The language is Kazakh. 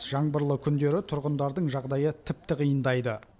жаңбырлы күндері тұрғындардың жағдайы тіпті қиындайды